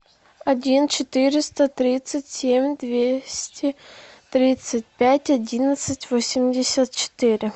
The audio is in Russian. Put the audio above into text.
один четыреста тридцать семь двести тридцать пять одиннадцать восемьдесят четыре